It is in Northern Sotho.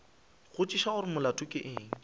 botšiša gore molato ke eng